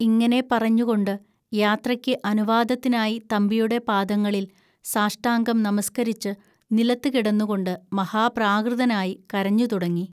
ഇങ്ങനെ പറഞ്ഞുകൊണ്ട് യാത്രയ്ക്ക് അനുവാദത്തിനായി തമ്പിയുടെ പാദങ്ങളിൽ സാഷ്ടാംഗം നമസ്‌കരിച്ച് നിലത്തു കിടന്നുകൊണ്ട്, മഹാപ്രാകൃതനായി കരഞ്ഞുതുടങ്ങി